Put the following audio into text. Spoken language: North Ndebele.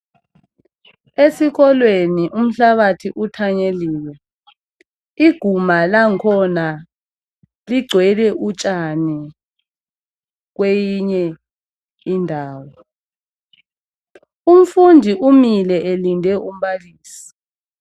Esikolweni umhlabathi uthanyeliwe, iguma langkhona ligcwele utshani kweyinye indawo. Umfundi umile elinde umbalisi.